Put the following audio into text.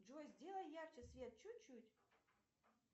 джой сделай ярче свет чуть чуть